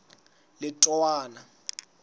letowana